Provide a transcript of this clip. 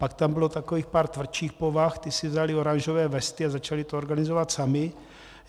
Pak tam bylo takových pár tvrdších povah, ti si vzali oranžové vesty a začali to organizovat sami.